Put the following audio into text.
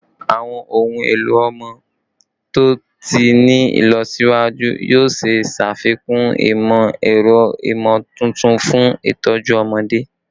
Awọn ohun elo ọmọ to ti ni ilọsiwaju yoo ṣee ṣafikun imọ-ẹrọ imotuntun fun itọju ọmọde